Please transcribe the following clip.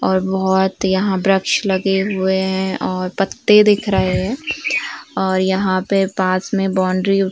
और बहोत यहाँ बृक्ष लगे हुए हैं और पत्तें दिख रहे हैं और यहाँ पे पास में बाउंड्री --